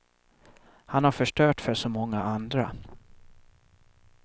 Han har förstört för så många andra.